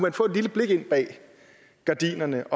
at få et lille blik ind bag gardinerne